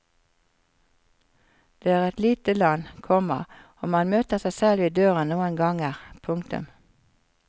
Det er et lite land, komma og man møter seg selv i døren noen ganger. punktum